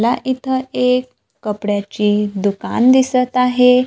मला इथं एक कपड्याचे दुकान दिसत आहे.